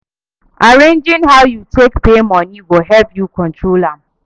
Arranging how yu take pay moni go help yu control am